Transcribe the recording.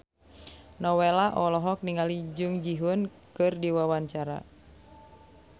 Nowela olohok ningali Jung Ji Hoon keur diwawancara